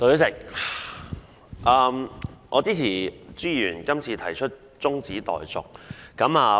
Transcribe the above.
代理主席，我支持朱議員今次提出的中止待續議案。